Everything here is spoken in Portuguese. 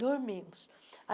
Dormimos.